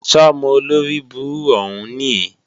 Sọ́mọ olóribú òhún níì?